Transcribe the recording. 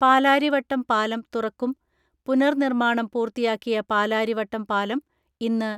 പാലാരിവട്ടം പാലം തുറക്കും പുനർനിർമാണം പൂർത്തിയാക്കിയ പാലാരിവട്ടം പാലം ഇന്ന്